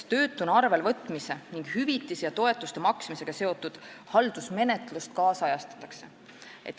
Töötuna arvelevõtmise ning hüvitiste ja toetuste maksmisega seotud haldusmenetlust ajakohastatakse.